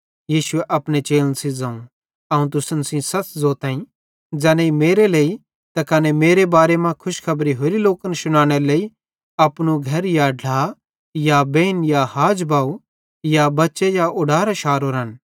यीशुए अपने चेलन सेइं ज़ोवं अवं तुसन सेइं सच़ ज़ोतईं कि ज़ैनेईं मेरे लेइ त कने मेरे बारे मां खुशखबरी होरे लोकन शुनानेरे लेइ अपने घर या ढ्ला या बेइन या हाज या बव या बच्चे या उडारां शारोरन